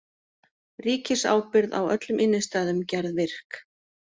Ríkisábyrgð á öllum innistæðum gerð virk